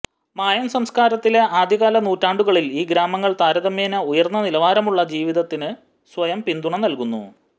മായൻ സംസ്കാരത്തിന്റെ ആദ്യകാല നൂറ്റാണ്ടുകളിൽ ഈ ഗ്രാമങ്ങൾ താരതമ്യേന ഉയർന്ന നിലവാരമുള്ള ജീവിതത്തിന് സ്വയം പിന്തുണ നൽകുന്നു